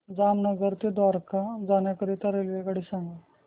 जामनगर ते द्वारका जाण्याकरीता रेल्वेगाडी सांग